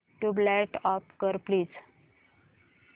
tubelight off कर please